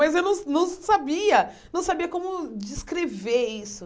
Mas eu não não sabia, não sabia como descrever isso.